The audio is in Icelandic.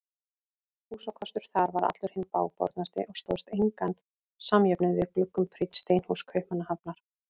Húsakostur þar var allur hinn bágbornasti og stóðst engan samjöfnuð við gluggum prýdd steinhús Kaupmannahafnar.